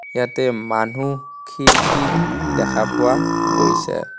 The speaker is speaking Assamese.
ইয়াতে মানুহ খিৰকি দেখা পোৱা গৈছে.